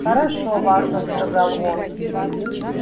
хорошо важно сказал он